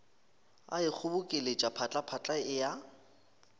a ikgobokeletša phatlaphatla e a